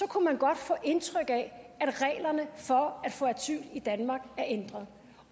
kunne man godt få indtryk af at reglerne for at få asyl i danmark er ændret